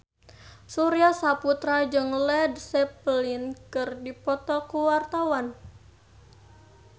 Surya Saputra jeung Led Zeppelin keur dipoto ku wartawan